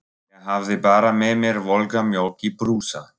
Ég hafði bara með mér volga mjólk í brúsa.